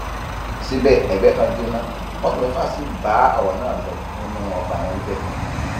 síbẹ ẹgbẹ kan jóná mọtò mẹfà sí bá ọrọ náà lọ nínú ọgbà wọn níbẹ